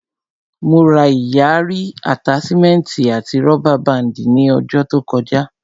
Mo ra ìyarí, àtáṣímẹ́ẹ̀tì àti rọ́bà báàndì ní ọjà to kọjá